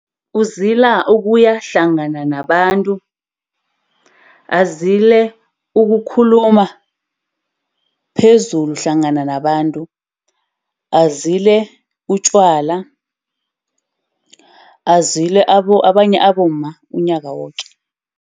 Uzila ukuyahlangana nabantu. Azile ukukhuluma phezulu hlangana nabantu. Azile utjwala. Azile abanye abomma, umnyaka woke.